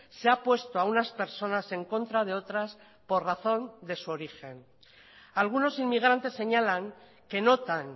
se ha puesto a unas personas en contra de otras por razón de su origen algunos inmigrantes señalan que notan